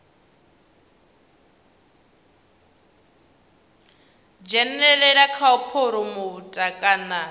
dzhenelela kha u phuromotha kana